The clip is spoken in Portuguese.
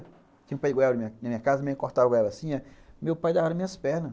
Tinha um pé de goiaba na minha casa, meia cortava a goiaba assim, meu pai dava-lhe as minhas pernas.